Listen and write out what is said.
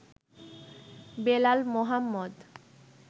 Belal Mohammad